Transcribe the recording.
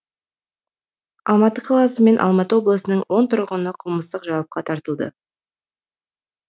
алматы қаласы мен алматы облысының он тұрғыны қылмыстық жауапқа тартылды